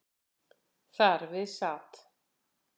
Þar við sat.